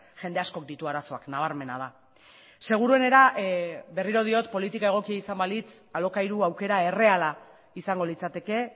jende askok ditu arazoak nabarmena da seguruenera berriro diot politika egokia izan balitz alokairu aukera erreala izango litzateke